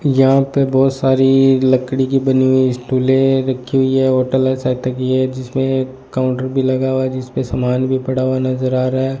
यहां पे बहोत सारी लकड़ी की बनी हुई स्टुले रखी हुई है होटल है है जिसमें काउंटर भी लगा हुआ जिसपे सामान भी पड़ा हुआ नजर आ रहा है।